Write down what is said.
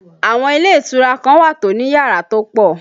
Àwọn ilé ìtura kan wà tó ní yàrá tó pọ̀